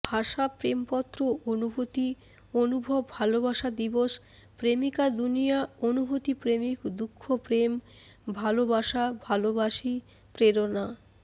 ভাষা প্রেমপত্র অনুভুতি অনুভব ভালোবাসা দিবস প্রেমিকা দুনিয়া অনুভূতি প্রেমিক দুঃখ প্রেম ভালোবাসা ভালোবাসি প্রেরণা